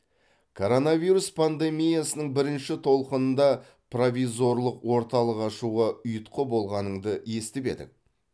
коронавирус пандемиясының бірінші толқынында провизорлық орталық ашуға ұйытқы болғаныңды естіп едік